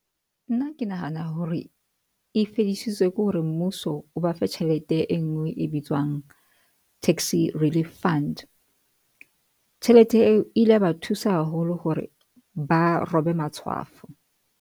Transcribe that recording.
Nna ke nahana hore e fedisitswe ke hore mmuso o ba fe tjhelete e ngwe e bitswang Taxi Relief Fund, tjhelete eo ile ya ba thusa haholo hore ba robe matshwafo.